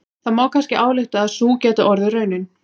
Það má kannski álykta að sú gæti orðið raunin.